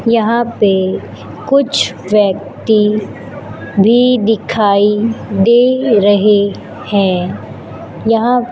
यहां पे कुछ व्यक्ति भी दिखाई दे रहे हैं यहां--